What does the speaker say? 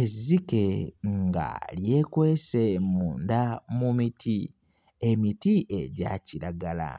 Ezzike nga lyekwese munda mu miti, emiti egya kiragala